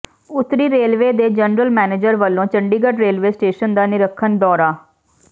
ਉੱਤਰੀ ਰੇਲਵੇ ਦੇ general manager ਵੱਲੋਂ ਚੰਡੀਗੜ੍ਹ ਰੇਲਵੇ ਸਟੇਸ਼ਨ ਦਾ ਨਿਰੀਖਣ ਦੌਰਾ